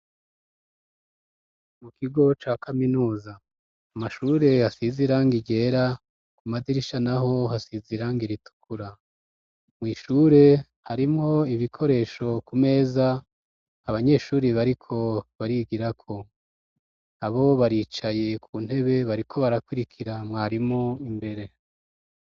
Mu kigo ca kaminuza, amashure asize irangi ryera, ku madirisha naho hasize irangi ritukura, mw' ishure harimwo ibikoresho ku meza, abanyeshuri bariko barigira ko, abo baricaye ku ntebe bariko barakurikira mwarimu imbere.